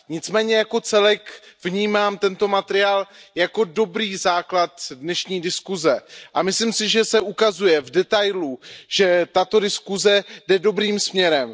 Nicméně jako celek vnímám tento materiál jako dobrý základ dnešní diskuze a myslím si, že se ukazuje v detailu, že tato diskuze jde dobrým směrem.